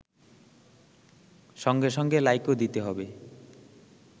সঙ্গে সঙ্গে লাইকও দিতে হবে